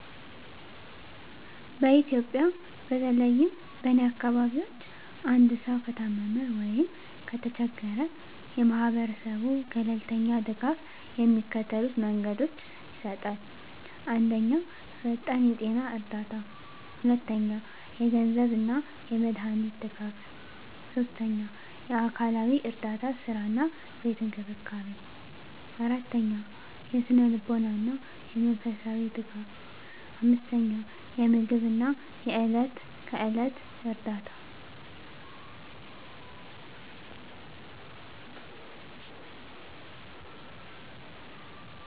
በኢትዮጵያ፦ በተለይም በእኔ አካባቢዎች አንድሰዉ ከታመመ ወይም ከተቸገራ የማሀበራስቡ ተገለልተኛ ድጋፍ የሚከተሉት መንገዶች ይሰጣል። 1 ፈጣን የጤና እርዳታ 2 የገንዘብ አና የመዳሃኒት ድጋፍ 3 የአካልዊ እረዳታ ሥራ አና ቤት እንክብካቤን 4የስነልቦና አና የመንፈሳዊ ደጋፍ 5የምግብ አና የዕለት ከዕለት እርዳታ